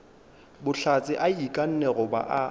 bohlatse a ikanne goba a